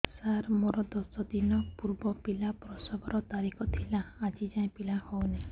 ସାର ମୋର ଦଶ ଦିନ ପୂର୍ବ ପିଲା ପ୍ରସଵ ର ତାରିଖ ଥିଲା ଆଜି ଯାଇଁ ପିଲା ହଉ ନାହିଁ